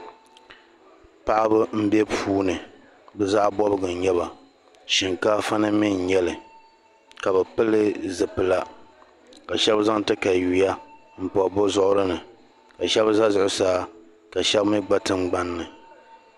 paɣiba m-be puuni be zaɣ' bɔbigu n-nyɛ ba shinkaafa ni mi n-nyɛ li ka bɛ pili zipila ka shɛba zaŋ takayua m-bɔbi bɛ zuɣiri ni ka shɛba za zuɣusaa ka shɛba mi gba tiŋgbani ni